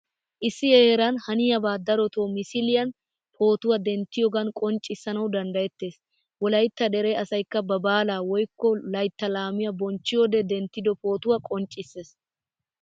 Issi heeran haniyaba darotto misiliyaan, pootuwaa denttiyogan qonccissanawu danddayetees. Wolaytta dere asaykka ba baalaa woykko laytta laamiyaa bonchchiyode denttido pootuwaa qoncciisees.